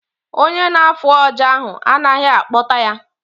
Ọnye na-afụ ọjà ahụ anaghị akpota ya